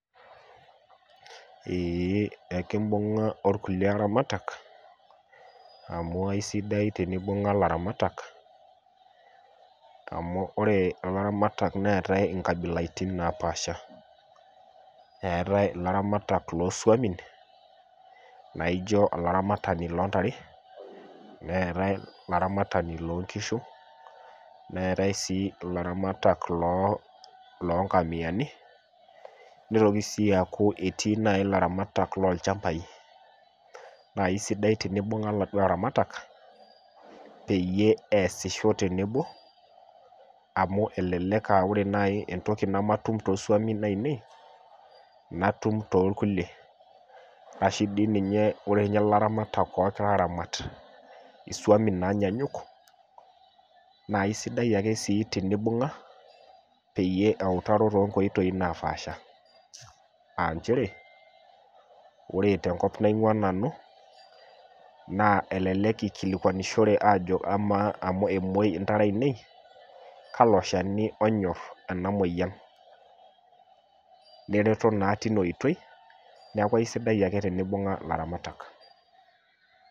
eee ekimbungaa orkulie aramatak amu kesidai teni imbunga ilaramatak amu oree ilaramatak neatai inkabialaiting napaasha eeatai ilaramatak loo swapii na ijo olaramatani loo ntare neetae ilaramatak loo nkishuu neetae sii ilaramatal loo nkamiani nitokii sii aaku ketii naii ilaramatak loo lchambai naa kesidai tenibunga laaduo aramatak peeyie easisho teneboo amuu elelek ahh koree naii entoki nematum too swamin ainei nattum too rkulie arashoo iidim koree ilaramatak loo swamin nanyanyuk naa isidai akee sii tenibunga peeyie eutaro too nkoitoi naapaasha .ncheree koree te nkop naingu a nanu naa elelek ikilikuanishore ajoo oree emuwei intare ainei kalo shani ooonyorr inamweyian nereto naa tinaoitoi niaku kesidai akee tenereto ilaramatak.